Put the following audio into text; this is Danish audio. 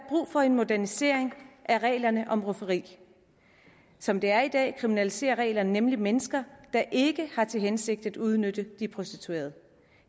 for en modernisering af reglerne om rufferi som det er i dag kriminaliserer reglerne nemlig mennesker der ikke har til hensigt at udnytte prostituerede